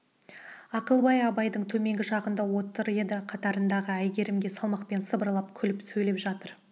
ақылбай абайдың төменгі жағында отыр еді қатарындағы әйгерімге салмақпен сыбырлап күліп сөйлеп жатыр